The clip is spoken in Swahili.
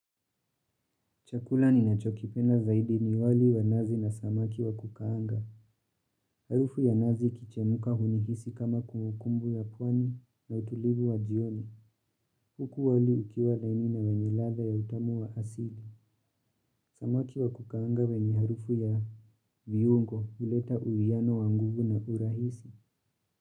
Chakula ni nachokipenda zaidi ni wali wa nazi na samaki wa kukaanga. Harufu ya nazi kikichemuka hunihisi kama kumbukumbu ya pwani na utulivu wa jioni. Huku wali ukiwa dhaini na wenye ladha ya utamu wa asili. Samaki wa kukaanga wenye harufu ya viungo huleta uiano wa nguvu na urahisi.